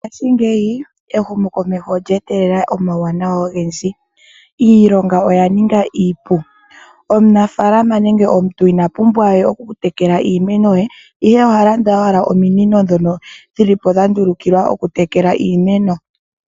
Mongaashi ngeyi ehumo komeho olyeetelela omawuwanawa ogendji iilonga oya ninga iipu omunafalama nenge omuntu ina pumbwa okutekela iimeno ye ihe ohalanda ominino ndhono dhili po dhandulukilwa okutekela iimeno.